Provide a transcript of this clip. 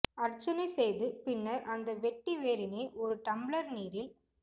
அர்ச்சனை செய்து பின்னர் அந்த வெட்டி வேரினை ஓரு டம்ளர் நீரில்